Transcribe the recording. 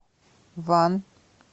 ван